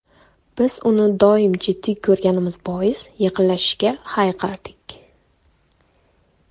Biz uni doim jiddiy ko‘rganimiz bois, yaqinlashishga hayiqardik.